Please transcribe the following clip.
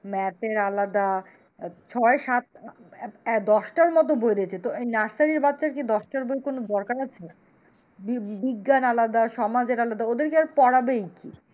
Math এর আলাদা ছয় সাত দশটার মত বই দিয়েছে তো এই নার্সারির বাচ্চার কি দশটা বই এর কোন দরকার আছে? বিজ্ঞান আলাদা সমাজের আলাদা ওদেরকে আর পড়াবেই কি?